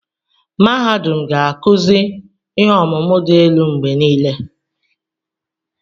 Mahadum ga-akụzi ihe ọmụmụ dị elu mgbe niile.